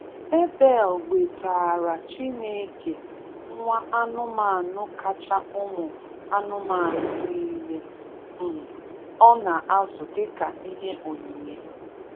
Abel wetaara Chineke nwa anụmanụ kacha ụmụ anụmanụ nile um ọ na-azụ dịka ihe onyinye.